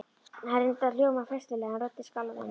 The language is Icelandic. Hann reyndi að hljóma festulega en röddin skalf enn.